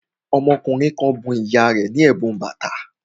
Ọmọkùnrin kan bun ìyá rẹ̀ ní ẹ̀bùn bàtà